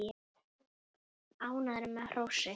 Ánægður með hrósið.